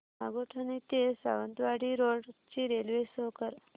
नागोठणे ते सावंतवाडी रोड ची railway show कर